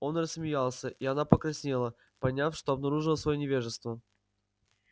он рассмеялся и она покраснела поняв что обнаружила своё невежество